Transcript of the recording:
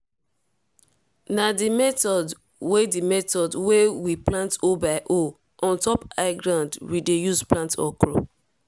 na di method wey di method wey we plant hole by hole on top high ground we dey use plant okro.